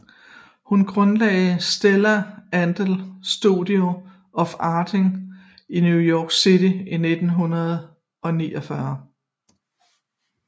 Hun grundlagde Stella Adler Studio of Acting i New York City i 1949